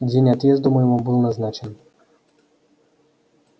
день отъезду моему был назначен